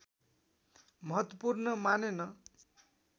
महत्त्वपूर्ण मानेन